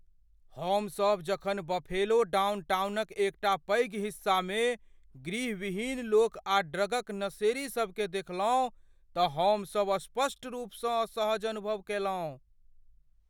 हम सभ जखन बफेलो डाउनटाउन क एकटा पैघ हिस्सामे गृह विहीन लोक आ ड्रग क नशेड़ी सब के देखलहुँ त हमसभ स्पष्ट रूपसँ असहज अनुभव कयलहुँ।